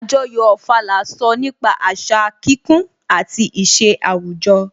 Àjọyọ̀ Ofala sọ nípa àṣà kíkún àti ìṣe àwùjọ